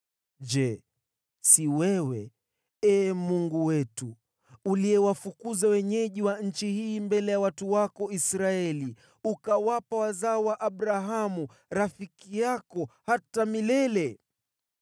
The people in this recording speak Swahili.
Je, si wewe, Ee Mungu wetu, uliyewafukuza wenyeji wa nchi hii mbele ya watu wako Israeli, ukawapa wazao wa Abrahamu, rafiki yako, hata milele?